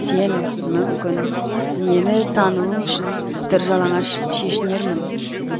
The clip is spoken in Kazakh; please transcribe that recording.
сен мүмкін мені тануың үшін тыржалаңаш шешінермін